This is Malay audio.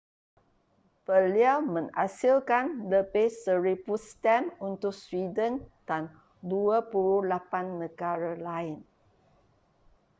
beliau menghasilkan lebih 1,000 stem untuk sweden dan 28 negara lain